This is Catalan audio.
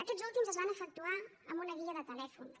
aquests últims es van efectuar amb una guia de telèfons